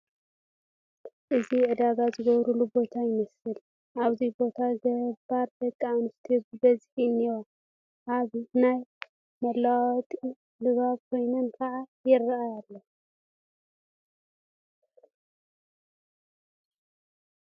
እዚ ዕዳጋ ዝግበረሉ ቦታ ይመስል፡፡ ኣብዚ ቦታ ገባር ደቂ ኣንስትዮ ብብዝሒ እኔዋ፡፡ ኣብ ናይ ምልውዋጥ ድባብ ኮይነን ከዓ ይርአያ ኣለዋ፡፡